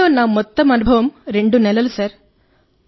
Covid లో నా మొత్తం అనుభవం 2 నెలలు సార్